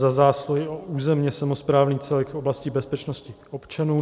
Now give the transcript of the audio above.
Za zásluhy o územní samosprávný celek v oblasti bezpečnosti občanů.